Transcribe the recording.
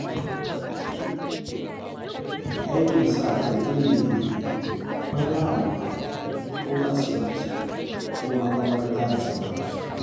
Aikin sa kai iri-iri ne, akwai na unguwa ko asibiti ko maƙabarta da sauransu.